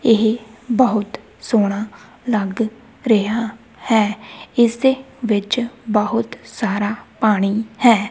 ਇਹ ਬਹੁਤ ਸੋਹਣਾ ਲੱਗ ਰਿਹਾ ਹੈ ਇਸ ਦੇ ਵਿੱਚ ਬਹੁਤ ਸਾਰਾ ਪਾਣੀ ਹੈ।